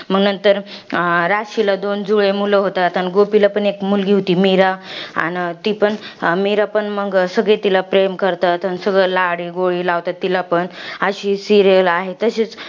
अन मंग, राशीला दोन जुळे मुलं होतात. अन गोपीला पण एक मुलगी होती. मीरा. अन ती पण, मीरा पण सगळे तिला प्रेम करतात. अन सगळी लाडीगोडी लावतात तिला पण. अशी serial आहे.